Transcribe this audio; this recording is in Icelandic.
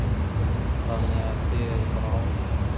Þannig að þið eruð bara ánægðar?